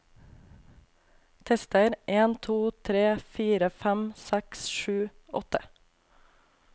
Tester en to tre fire fem seks sju åtte